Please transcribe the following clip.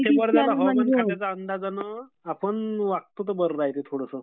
हवामान खात्याच्या अंदाजानं आपण वागतो तर बरं राहते